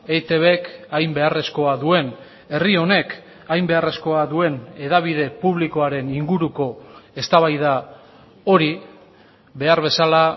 eitbk hain beharrezkoa duen herri honek hain beharrezkoa duen hedabide publikoaren inguruko eztabaida hori behar bezala